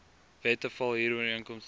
wette val huurooreenkomste